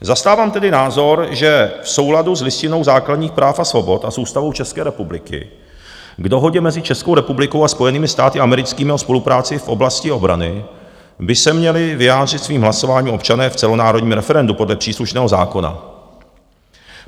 Zastávám tedy názor, že v souladu s Listinou základních práv a svobod a s Ústavou České republiky k Dohodě mezi Českou republikou a Spojenými státy americkými o spolupráci v oblasti obrany by se měli vyjádřit svým hlasováním občané v celonárodním referendu podle příslušného zákona.